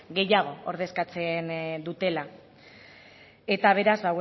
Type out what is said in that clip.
gehiago ordezkatzen dutela eta beraz